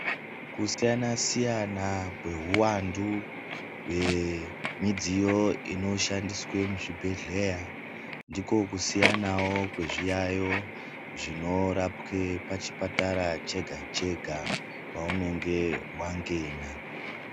Kusiyana-siyana kwehuwandu hwemidziyo inoshandiswe muzvibhedhleya. Ndiko kusiyanawo kwezviyaiyo zvinorapwe pachipatara chega-chega paunenge wangena.